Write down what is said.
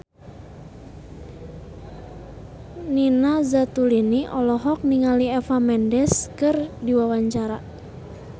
Nina Zatulini olohok ningali Eva Mendes keur diwawancara